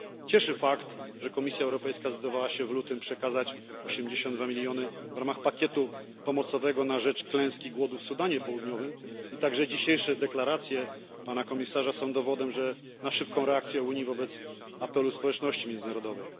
Cieszy fakt, że Komisja Europejska zdecydowała się w lutym przekazać 82 miliony w ramach pakietu pomocowego na rzecz klęski głodu w Sudanie Południowym i także dzisiejsze deklaracje Pana Komisarza są dowodem na szybką reakcję Unii na apele społeczności międzynarodowej.